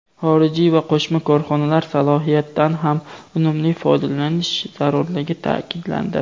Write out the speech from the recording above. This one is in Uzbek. xorijiy va qo‘shma korxonalar salohiyatidan ham unumli foydalanish zarurligi ta’kidlandi.